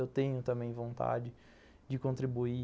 Eu tenho também vontade de contribuir